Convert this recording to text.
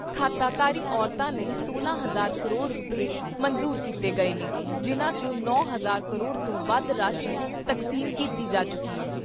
ਖਾਤਾਧਾਰੀ ਔਰਤਾਂ ਲਈ ਸੋਲਾਂ ਹਜ਼ਾਰ ਕਰੋੜ ਰੁਪਏ ਮਨਜ਼ੂਰ ਕੀਤੇ ਗਏ ਨੇ ਜਿਨ੍ਹਾਂ ' ਚੋਂ ਨੌ ਹਜ਼ਾਰ ਕਰੋੜ ਤੋਂ ਵੱਧ ਰਾਸ਼ੀ ਤਕਸੀਮ ਕੀਤੀ ਜਾ ਚੁੱਕੀ ਐ।